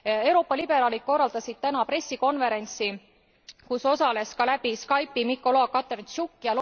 Euroopa liberaalid korraldasid täna pressikonverentsi, kus osales ka läbi Skype'i Mõkola Katerõntšuk.